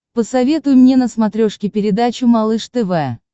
посоветуй мне на смотрешке передачу малыш тв